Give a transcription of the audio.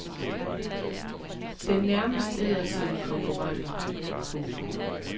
Den nærmest æder sine konkurrenter. punktum